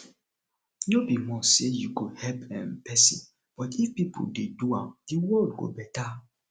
no be must say you go help um persin but if pipo de do am di world go better